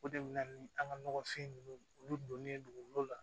O de bɛ na ni an ka nɔgɔfin ninnu olu donnen dugukolo la